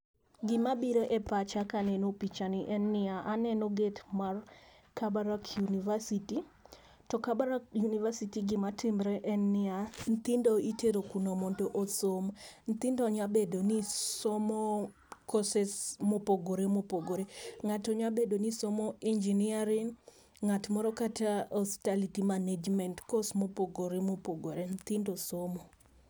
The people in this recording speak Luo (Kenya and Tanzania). Gi ma biro e pacha ka aneno picha ni en ni aneno gate mar kabarak university to kabarak univeristy gi ma timre en ni ya nyithindo itero kuro mondo osom ,nyithindo nya bedo ni somo courses na opogore opogore . Ng'ato nyabed ni somo engineering ng'at moro kata hospitality management, course ma opogore opogore, nyithindo somo.